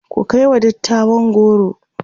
ku kaiwa dattawan goro!